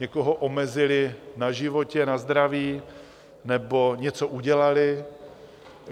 Někoho omezili na životě, na zdraví nebo něco udělali?